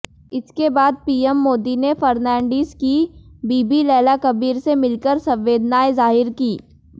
इसके बाद पीएम मोदी ने फर्नांडिस की बीबी लैला कबीर से मिलकर संवेदानाएं जाहिर कीं